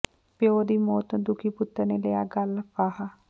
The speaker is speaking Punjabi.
ਪਿਓ ਦੀ ਮੌਤ ਤੋਂ ਦੁਖੀ ਪੁੱਤਰ ਨੇ ਲਿਆ ਗਲ ਫਾਹਾ